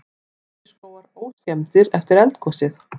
Birkiskógar óskemmdir eftir eldgosið